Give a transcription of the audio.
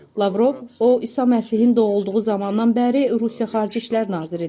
Lavrov, o İsa Məsihin doğulduğu zamandan bəri Rusiya Xarici İşlər Naziridir.